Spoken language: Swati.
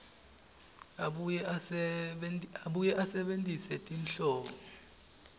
abuye asebentise tinhlobo